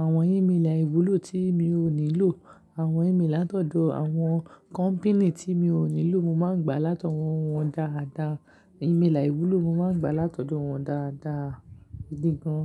Àwọn ìméèlà aìwúlò tí mi ò nílò, àwọn ìméèlà látọ̀dọ̀ àwọn kọ́mpínì tí mi ò nílò, mo máa ń gba látọ̀wọ́n wọn dáadáa. Ìméèlà aìwúlò mo máa ń gba látọ̀dọ̀ wọn dáadáa gidi gan.